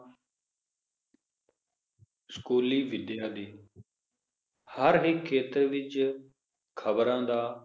ਸਕੂਲੀ ਵਿਦਿਆ ਦੀ ਹਰ ਹੀ ਖੇਤਰ ਵਿਚ ਖਬਰਾਂ ਦਾ